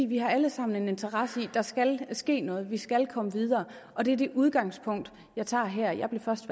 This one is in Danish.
vi har alle sammen en interesse i at der skal ske noget vi skal komme videre og det er det udgangspunkt jeg tager her jeg blev først